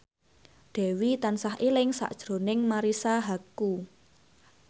Dewi tansah eling sakjroning Marisa Haque